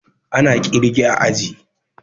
Ana kirge a aji